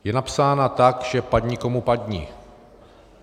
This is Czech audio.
Je napsána tak, že padni komu padni.